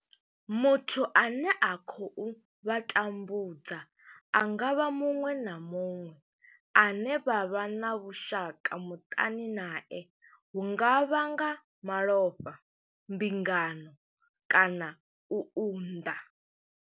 Muthu ane a khou vha tambudza a nga vha muṅwe na muṅwe ane vha vha na vhushaka muṱani nae, hu nga vha nga malofha, mbingano kana u unḓa.